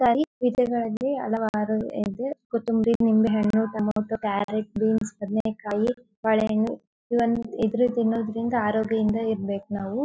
ಹಲವಾರು ಇದೆ ಕುತ್ತುಎಂಬರಿ ನಿಂಬೆ ಹಣ್ಣು ಟೊಮೊಟೊ ಕ್ಯಾರಟ್ ಬೀನ್ಸ್ ಬದನೆ ಕಾಯಿ ತಿನ್ನೋದ್ದ್ರಿಂದ ಆರೋಗ್ಯದಿಂದ ಇರ್ಬೆಕ್ ನಾವು .